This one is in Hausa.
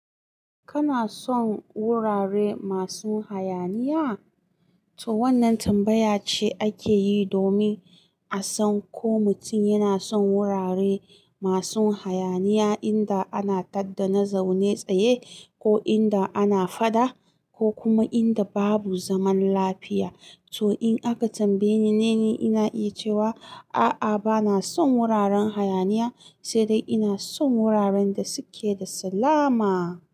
Kana son wurare masu hayaniya? To wannan tambaya ce ake yi domin a san ko mutum yana son wurare masu hayaniya inda ana tadda na zaune tsaye ko inda ana fada ko kuma inda babu zaman lafiya. To in aka tambaye ni, ni ina yi cewa a'a ba na son wuraren hayaniya, sai dai ina son wuraren da suke da salama.